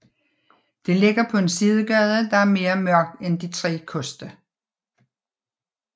Det ligger på en sidegade der er mere mørkt end De Tre Koste